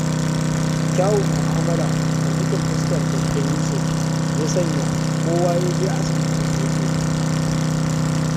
Kyawun mu'amala da sakin fuskar Dakta Yusuf, ya sanya kowa ya je asibitin shi yake nema.